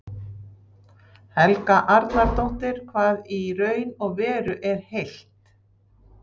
Helga Arnardóttir: Hvað í raun og veru er heilt?